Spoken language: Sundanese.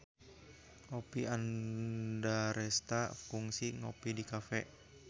Oppie Andaresta kungsi ngopi di cafe